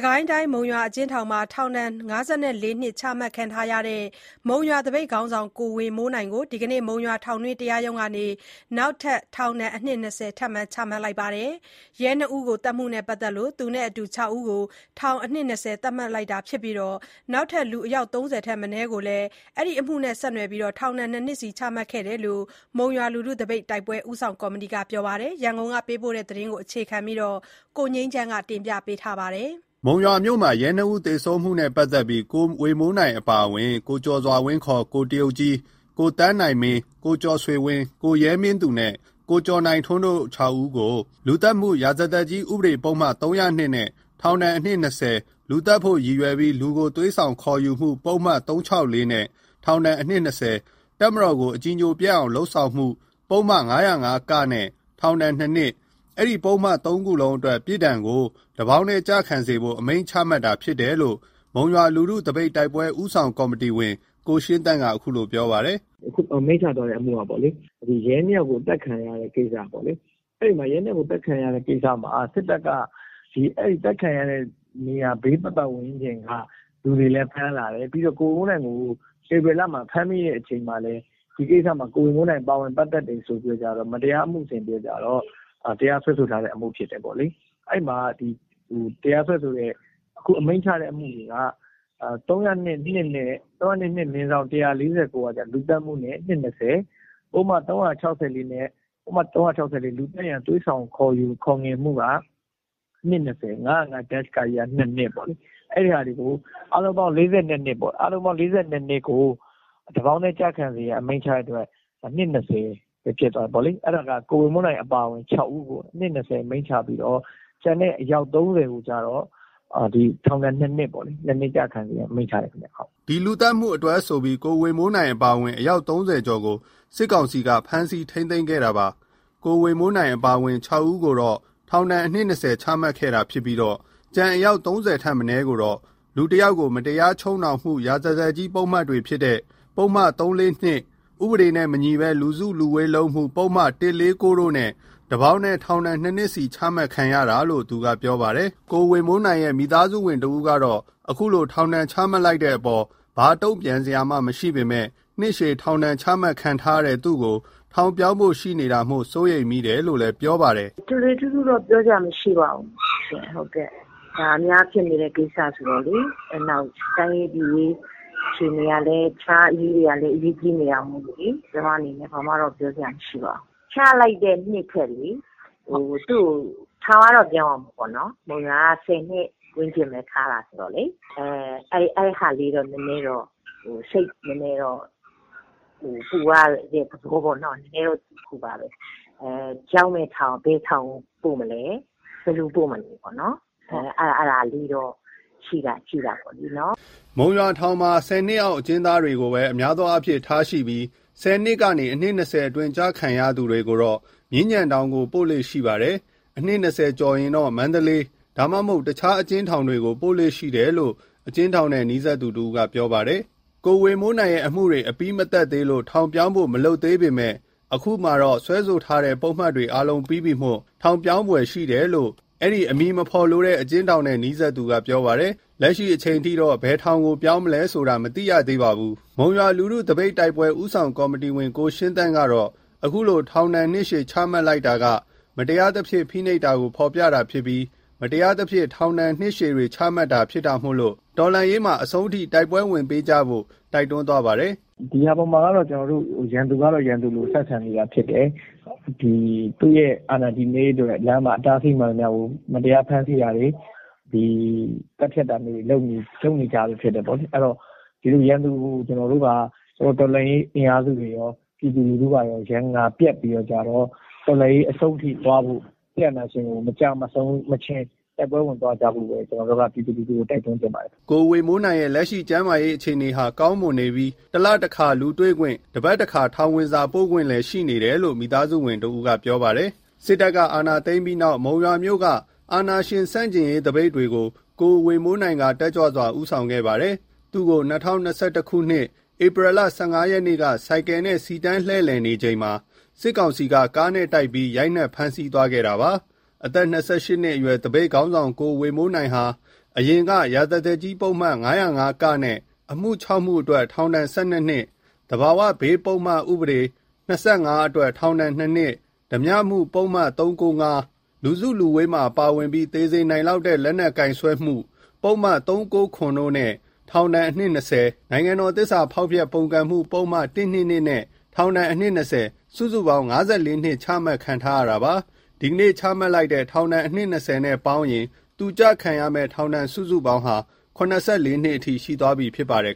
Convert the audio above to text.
ကိုင်းတိုင်း၊ မုံရွာအကျဥ်းထောင်မှာ ထောင် ၅၄ နှစ် ချမှတ်ခံထားရတဲ့ မုံရွာသပိတ်ခေါင်းဆောင် ကိုဝေမိုးနိုင်ကို ဒီနေ့မှာ မုံရွာ ထောင်တွင်း တရားရုံးကနေ နောက်ထပ် ထောင်ဒဏ် အနှစ် ၂၀ ထပ်မံ ချမှတ်လိုက်တယ်လို့ မိသားစုနဲ့နီးစပ်သူတဦးက အတည်ပြုပါတယ်။ ရဲ ၂ ဦးကို သတ်မှုနဲ့ ပတ်သတ်လို့ သူနဲ့အတူ ၆ဦးကို ထောင် အနှစ် ၂၀ ချမှတ်လိုက်တာဖြစ်ပြီး နောက်ထပ် လူအယောက် ၃၀ထပ်မနည်းကိုလည်း ဒီအမှုနဲ့ ဆက်နွယ်ပြီး ထောင်ဒဏ် ၂နှစ်စီ ချမှတ်ခဲ့တယ်လို့ မုံရွာလူထုသပိတ်တိုက်ပွဲ ဦးဆောင်ကော်မတီက ပြောပါတယ်။ ဒီအကြောင်း ရန်ကုန်ကပေးပို့တဲ့ သတင်းကိုအခြေခံပြီး ကိုငြိမ်းချမ်းက တင်ပြပေးထားပါတယ်။ မုံရွာမြို့မှာ ရဲနှစ်ဦးသေဆုံးမှုနဲ့ပတ်သက်ပြီး ကိုဝေမိုးနိုင် အပါအဝင် ကိုကျော်စွာဝင်း (ခေါ်) ကိုတရုတ်ကြီး၊ ကိုသန်းနိုင်မင်း၊ ကိုကျော်ဆွေဝင်း၊ ကိုရဲမင်းသူနဲ့ ကိုကျော်နိုင်ထွန်းတို့ ခြောက်ဦးကို လူသတ်မှု ရာဇသတ်ကြီး ဥပဒေပုဒ်မ - ၃၀၂နဲ့ ထောင်အနှစ် ၂၀၊ လူသတ်ဖို့ရည်ရွယ်ပြီး လူကို သွေးဆောင်ခေါ်ယူမှု ပုဒ်မ ၃၆၄ နဲ့ ထောင် အနှစ် ၂၀၊ တပ်မတော်ကို အကြည်ညိုပျက်အောင်လုပ်မှု ပုဒ်မ ၅၀၅ (က) နဲ့ ထောင် ၂ နှစ်၊ အဲဒီပုဒ်မ သုံးခုလုံးအတွက် ပြစ်ဒဏ်ကို တစ်ပေါင်းတည်းကျခံဖို့ အမိန့်ချတာဖြစ်လို့ မုံရွာလူထုသပိတ်တိုက်ပွဲ ဦးဆောင်ကော်မတီဝင် ကိုရှင်းသန့်က အခုလိုပြောပါတယ်။ "အမိန့်ချသွားတာက ရဲ ၂ယောက်ကိုအသတ်ခံရတဲ့ကိစ္စပေါ့လေ။ အဲ ရဲ၂ယောက်သတ်ခံရတဲ့ကိစ္စမှာစစ်တပ်က သတ်ခံရတဲ့နေရာဘေးပတ် ပတ် ဝန်းကျင်က လူတွေလည်းဖမ်းလာတယ်။ ကိုဝေမိုးနိုင်ကို ဧပြီလဖမ်းမိတဲ့အချိန်မှာလည်း ဒီကိစ္စမှာကိုဝေမိုးနိုင်ပါဝင်တယ်ဆိုပြီး မတရား အမှုဆင်ပြီးကျတော့ တရားစွဲဆိုတဲ့အမှုဖြစ်တယ်။ အခုအမိန့်ချတဲ့အမှုတွေက ၃၀၂ လူသတ်မှုနဲ့ နှစ် ၂၀၊ ပုဒ်မ ၃၆၄နဲ့ နှစ် ၂၀၊ ၅၀၅-ကနဲ့က ၂နှစ် အားလုံးပေါင်း ၄၂နှစ်ပေါ့ တပေါင်းထဲကျရန်ဆိုတော့ နှစ် ၂၀၊ အဲဒါကကိုဝေမိုးနိုင်အပါ ၆ဦးကို နှစ် ၂၀ချပြီးတော့ ကျန်တဲ့အယောက် ၃၀ကို တော့ ထောင်ဒဏ် ၂နှစ်ချဖို့အမိန့်ချလိုက်တယ်။" ဒီလူသတ်မှုအတွက်ဆိုပြီး ကိုဝေမိုးနိုင်အပါအဝင် အယောက် ၃၀ကျော်ကို စစ်ကောင်စီက ဖမ်းဆီးထိန်းသိမ်းခဲ့တာပါ။ ကိုဝေမိုးနိုင် အပါအဝင် ၆ဦးကိုတော့ နှစ် ၂၀ချမှတ်ခဲ့တာဖြစ်ပြီး ကျန်အယောက် ၃၀ထက်မနည်းကိုတော့ လူတစ်ယောက်ကို မတရားချုပ်နှောင်မှု ရာဇသတ်ကြီး ပုဒ်မတွေဖြစ်တဲ့ ပုဒ်မ -၃၄၂ ၊ ဥပဒေနဲ့မညီဘဲ လူစုလူဝေးလုပ်မှု ပုဒ်မ - ၁၄၉ တို့နဲ့ တစ်ပေါင်းတည်း ထောင် ၂ နှစ်ချမှတ်ခံရတာလို့ သူက ပြောပါတယ်။ ကိုဝေမိုးနိုင်ရဲ့မိသားစုတဦးကတော့ အခုလို ထောင်ဒဏ်ချမှတ်လိုက်တဲ့အပေါ်မှာ ဘာတုံပြန်စရာမှမရှိပေမယ့် နှစ်ရှည် ထောင်ဒဏ် ချမှတ်ခံထားရတဲ့ သူ့ကို ထောင်ပြောင်းဖို့ရှိနေတာမို့ စိုးရိမ်မိတယ်လို့ ပြောပါတယ်။ "ထွေထွေထူးထူးပြောစရာမရှိပါဘူး။ အများဖြစ်နေတဲ့ကိစ္စဆိုတော့လေ တိုင်းရေးပြည်ရေးတခြားအရေးတွေကလည်း အရေးကြီးနေတော့ဘာမှတော့ပြောစရာမရှိ။ ချလိုက်တဲ့နှစ်ထပ်လေ သူ့ကိုထောင်ပြောင်းရမှာပေါ့ မုံရွာက ၁၀နှစ်ဝန်းကျင်ဘဲထားတာလေ အဲအတွက်တော့ကျမစိတ်ပူတယ်။ ဘယ်ထောင်ပို့မလဲ ဘယ်လိုပို့မလဲ အဲဒါလေးတော့ရှိတာ ပေါ့နော်" မုံရွာထောင်မှာ ၁၀နှစ်အောက် အကျဉ်းသားတွေကိုဘဲ အများအားဖြင့်ထားရှိပြီး ၁၀နှစ်ကနေနှစ် ၂၀အတွင်းကျခံရသူတွေကို မြင်းခြံထောင်ပို့လေ့ ရှိပါတယ်။ အနှစ် ၂၀ကျော်ရင်တော့ မန္တလေး၊ ဒါမှမဟုတ် တခြားအကျဉ်းထောင်တွေကို ပို့လေ့ရှိတယ်လို့ အကျဉ်းထောင်နဲ့ နီးစပ်သူတဦးက ပြောပါတယ်။ ကိုဝေမိုးနိုင်ရဲ့အမှုတွေ မပြီးသတ်သေးလို့ ထောင်ပြောင်းဖို့ မလုပ်သေးပေမယ့် အခုမှာတော့ စွဲဆိုထားတဲ့ ပုဒ်မတွေ အားလုံးပြီးပြီမို့ ထောင်ပြောင်းဖွယ် ရှိတယ်လို့ အဲဒီအမည်မဖော်လိုတဲ့ အကျဉ်းထောင်နဲ့နီးစပ်သူက ပြောပါတယ်။ လက်ရှိအချိန်ထိ ဘယ်ထောင်ကို ပြောင်းမလဲဆိုတာကို တော့မသိရသေးပါဘူး။ မုံရွာလူထုသပိတ်တိုက်ပွဲ ဦးဆောင်ကော်မတီဝင် ကိုရှင်းသန့်ကတော့ အခုလိုထောင်ဒဏ်နှစ်ရှည်ချမှတ်လိုက်တာက မတရားသဖြင့်ဖိနှိပ်တာ ကိုဖော်ပြတာဖြစ်ပြီး မတရားသဖြင့် နှစ်ရှည်ထောင်ဒဏ်တွေ ချမှတ်တာဖြစ်တာမို့ တော်လှန်ရေးမှာ အဆုံးထိတိုက်ပွဲဝင်ပေးကြဖို့ တိုက်တွန်းသွား ပါတယ်။ " ဒီဟာပေါ်မှာတော့ရန်သူကရန်သူလိုဆက်ဆံနေတာဖြစ်တယ်။ သူ့အာဏာတည်ရေးအတွက်လမ်းမှာအတားအဆီးမှန်သမျှကို မတရားဖမ်းဆီး တာတွေ မတရားသတ်ဖြတ်တာတွေလုပ်နေကြတာဖြစ်တယ်။ ရန်သူကိုတော်လှန်ရေးအင်အားစုတွေကော ပြည်သူတွေကကောရန်ငါပြတ်ပြီး တော့ တော်လှန်ရေးအဆုံးထိသွားဖို့ စစ်အာဏာရှင်မကျမဆုံးမချင်းတိုက်ပွဲဝင်သွားကြဖို့ ကျနော်တို့ကပြည်သူကိုတိုက်တွန်းချင်ပါတယ်။" ကိုဝေမိုးနိုင်ရဲ့ လက်ရှိကျန်းမာရေးအခြေအနေဟာ ကောင်းမွန်နေပြီး ၁လတခါ လူတွေ့ခွင့်၊ တပါတ်တခါ ထောင်ဝင်စာပို့ခွင့်လည်း ရှိနေတယ်လို့ မိသားစုဝင်တဦးက ပြောပါတယ်။ စစ်တပ်အာဏာသိမ်းပြီးနောက် မုံရွာမြို့က အာဏာရှင်ဆန့်ကျင်ရေးသပိတ်တွေကို ကိုဝေမိုးနိုင်က တက်ကြွစွာဦးဆောင်ခဲ့သူဖြစ်ပါတယ်။ သူ့ကို ၂ဝ၂၁ ခုနှစ်၊ ဧပြီလ ၁၅ ရက်နေ့က ဆိုင်ကယ်နဲ့ စီတန်းလှည့်လည်နေချိန်မှာပဲ စစ်ကောင်စီက ကားနဲ့တိုက်ပြီး ရိုက်နှက်ဖမ်းဆီး သွားခဲ့တာဖြစ်ပါ တယ်။ အသက် ၂၈ နှစ်အရွယ် သပိတ်ခေါင်းဆောင် ကိုဝေမိုးနိုင်ဟာ အရင်က ရာဇသတ်ကြီးပုဒ်မ ၅၀၅-ကနဲ့ အမှုခြောက်မှုအတွက် ထောင် ၁၂ နှစ်၊ သဘာဝဘေးပုဒ်မ - ၂၅ အတွက် ထောင် ၂ နှစ်၊ ဓားပြမှု ပုဒ်မ - ၃၉၅၊ လူစုလူဝေးမှာပါဝင်ပြီး သေစေနိုင်လောက်တဲ့ လက်နက်ကိုင်စွဲမှု ပုဒ်မ - ၃၉၇ တို့နဲ့ ထောင်အနှစ် ၂၀၊ နိုင်ငံတော် သစ္စာဖောက်ဖျက် ပုန်ကန်မှုပုဒ်မ - ၁၂၂ နဲ့ ထောင်အနှစ် ၂၀ စုစုပေါင်း ၅၄ နှစ် ချမှတ်ခံထားရတာပါ။ ဒီကနေ့ချမှတ်လိုက်တဲ့ ထောင်ဒဏ် နှစ် ၂၀ နဲ့ပေါင်းရင် သူကျခံရမယ့် ထောင်ဒဏ် စုစုပေါင်းဟာ ၇၄ နှစ်အထိ ရှိသွားပြီဖြစ်ပါတယ်